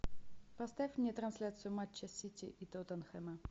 поставь мне трансляцию матча сити и тоттенхэма